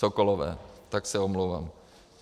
Sokolové, tak se omlouvám.